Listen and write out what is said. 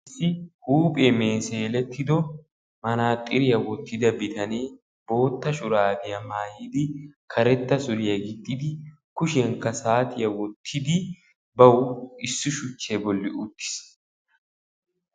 Issi huuphiya meeselettiddo manaxxirriya woxxidda bitane bootta shurabbiya maayiddi karetta suriya gixxiddi issi shuchcha bolla uttiis.